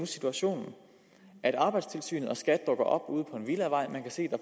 situationen at arbejdstilsynet og skat dukker op ude på en villavej man kan se at